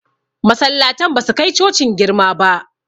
Masallatan ba su kai cocin girma ba